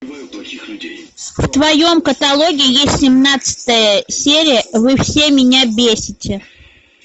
в твоем каталоге есть семнадцатая серия вы все меня бесите